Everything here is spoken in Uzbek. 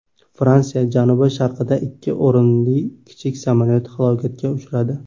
Fransiya janubi-sharqida ikki o‘rinli kichik samolyot halokatga uchradi.